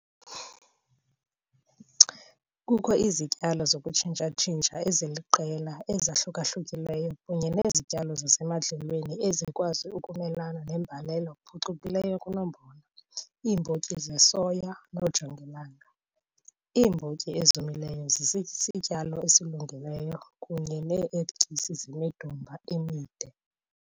Kukho izityalo zokutshintsha eziliqela ezahluka-hlukileyo kunye nezityalo zasemadlelweni ezikwazi ukumelana nembalela phucukileyo kunombona, iimbotyi zesoya kunye noojongilanga. Iimbotyi ezomileyo zisisityalo esilungileyo, kunye nee-erityisi zemidumba emide.